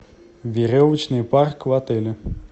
веревочный парк в отеле